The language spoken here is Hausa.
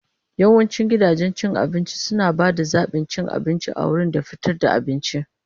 Yawancin gidajen cin abinci suna ba da zaɓin cin abinci a wurin da fitar da abinci.